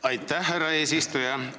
Aitäh, härra eesistuja!